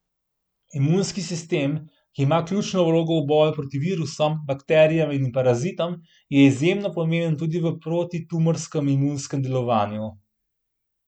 Imunski sistem, ki ima ključno vlogo v boju proti virusom, bakterijam in parazitom, je izjemno pomemben tudi v protitumorskem imunskem delovanju.